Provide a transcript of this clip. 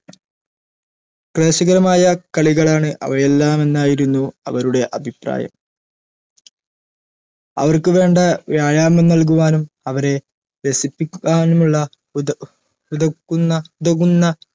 പ്രഹസികരമായ കളികളാണ് അവയെല്ലാമെന്നായിരുന്നു അവരുടെ അഭിപ്രായം അവർക്കു വേണ്ട വ്യായാമം നൽകുവാനും അവരെ രസിപ്പിക്കാനുമുള്ള ഉത ഉതക്കുന്ന ഉതകുന്ന